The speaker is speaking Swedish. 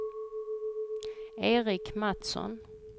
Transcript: Eric Matsson